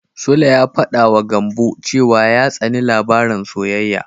Sule ya faɗawa Gambo cewa ya tsani labaran soyayya.